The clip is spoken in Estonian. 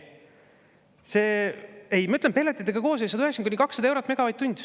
Ei, ma ütlen, pelletitega koos on 190–200 eurot megavatt-tund.